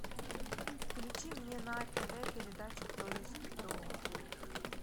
включи мне на тв передачу кто есть кто